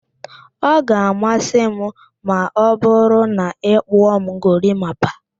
Ọ ga-amasị m ma ọ bụru na ị kpụọ m gorimapa